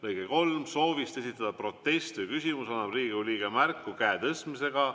" Lõige 3: "Soovist esitada protest või küsimus annab Riigikogu liige märku käe tõstmisega.